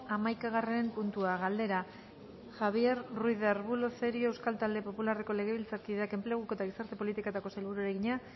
hamaikagarren puntua galdera javier ruiz de arbulo cerio euskal talde popularreko legebiltzarkideak enpleguko eta gizarte politiketako sailburuari egina